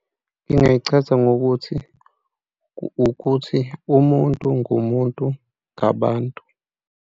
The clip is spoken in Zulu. Ngingayichaza ngokuthi ukuthi, umuntu ngumuntu ngabantu.